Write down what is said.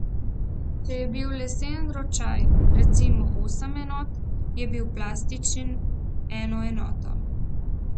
Če je bil leseni ročaj, recimo, osem enot, je bil plastični eno enoto.